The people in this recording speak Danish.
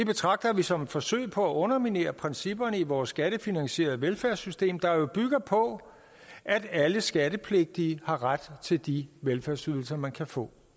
betragter vi som et forsøg på at underminere principperne i vores skattefinansierede velfærdssystem der jo bygger på at alle skattepligtige har ret til de velfærdsydelser man kan få